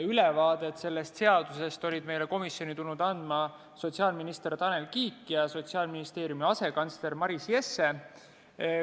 Ülevaadet sellest eelnõust olid meile komisjoni tulnud andma sotsiaalminister Tanel Kiik ja Sotsiaalministeeriumi asekantsler Maris Jesse.